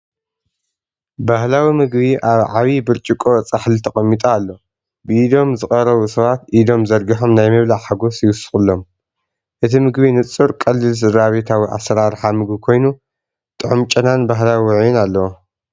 ባህላዊ ምግቢ ኣብ ዓቢ ብርጭቆ ጻሕሊ ተቐሚጡ ኣሎ። ብኢዶም ዝቐርቡ ሰባት ኢዶም ዘርጊሖም ናይ ምብላዕ ሓጎስ ይውስኹሎም። እቲ ምግቢ ንጹር ቀሊል ስድራቤታዊ ኣሰራርሓ ምግቢ ኮይኑ፡ ጥዑም ጨናን ባህላዊ ውዑይን ኣለዎ።